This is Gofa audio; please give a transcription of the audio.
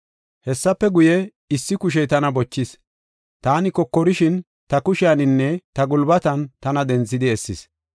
Hessafe guye, issi kushey tana bochis; taani kokorashin, ta kushiyaninne ta gulbatan tana denthidi essis.